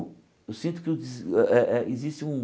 Eu sinto que que o de eh eh existe um...